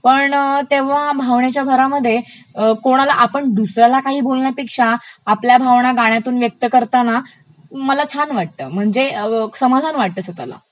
पण तेव्हा भावनेच्या भरामध्ये कोणाला आपण दुसऱ्याला काही बोलण्यापेक्षा आपल्या भावना गाण्यातून व्यक्त करताना मला छान वाटत म्हणजे समाधान वाटत स्वतःला.